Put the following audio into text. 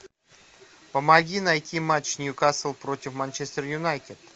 помоги найти матч ньюкасл против манчестер юнайтед